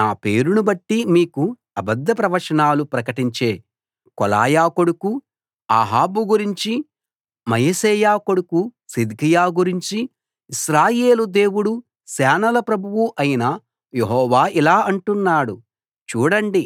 నా పేరును బట్టి మీకు అబద్ధ ప్రవచనాలు ప్రకటించే కోలాయా కొడుకు అహాబు గురించి మయశేయా కొడుకు సిద్కియా గురించి ఇశ్రాయేలు దేవుడూ సేనల ప్రభువు అయిన యెహోవా ఇలా అంటున్నాడు చూడండి